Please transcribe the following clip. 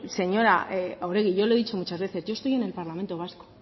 señora oregi yo le he dicho muchas veces yo estoy en el parlamento vasco